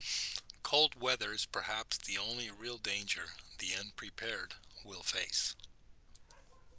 cold weather is perhaps the only real danger the unprepared will face